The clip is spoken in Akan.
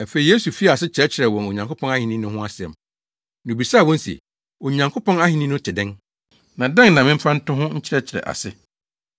Afei Yesu fii ase kyerɛkyerɛɛ wɔn Onyankopɔn ahenni no ho asɛm, na obisaa wɔn se, “Onyankopɔn ahenni no te dɛn? Na dɛn na memfa nto ho nkyerɛkyerɛ ase?